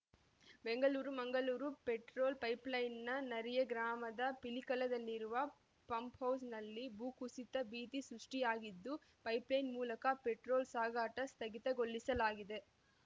Bengaluru Mangaluru petrol ಪೈಪ್‌ಲೈನ್‌ನ ನೆರಿಯ ಗ್ರಾಮದ ಪಿಲಿಕಲದಲ್ಲಿರುವ ಪಂಪ್‌ಹೌಸ್‌ನಲ್ಲಿ ಭೂ ಕುಸಿತ ಭೀತಿ ಸೃಷ್ಟಿಯಾಗಿದ್ದು ಪೈಪ್‌ಲೈನ್‌ ಮೂಲಕ ಪೆಟ್ರೋಲ್‌ ಸಾಗಾಟ ಸ್ಥಗಿತಗೊಳಿಸಲಾಗಿದೆ